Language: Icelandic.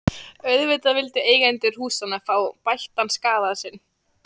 Auðvitað vildu eigendur húsanna fá bættan skaða sinn.